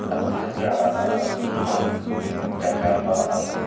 ano tetsür ana jajaba angur.